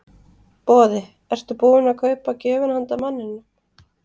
Boði: Ertu búin að kaupa gjöfina handa manninum?